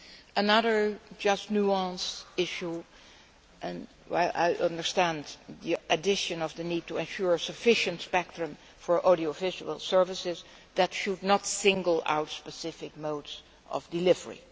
Another nuanced issue while I understand the addition of the need to ensure sufficient spectrum for audiovisual services, that should not single out specific modes of delivery.